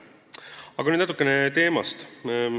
Aga nüüd natukene teemast.